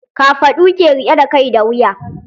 Kafaɗu ke riƙe da kai da wuya.